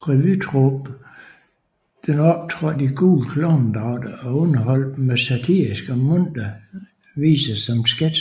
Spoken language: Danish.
Revytruppen optrådte i gule klovnedragter og underholdt med satiriske og muntre viser samt sketcher